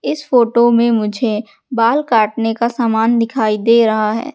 इस फोटो में मुझे बाल काटने का सामान दिखाई दे रहा है।